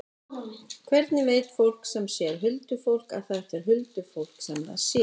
Hvernig veit fólk sem sér huldufólk að þetta er huldufólk sem það sér?